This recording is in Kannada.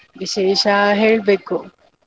ವಿಶೇಷ ಹೇಳ್ಬೇಕು.